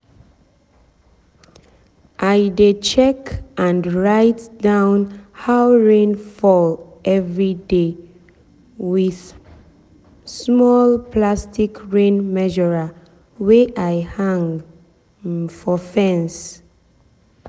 i dey check and write down how rain fall everyday with um small plastic rain measurer wey i hang um for fence. um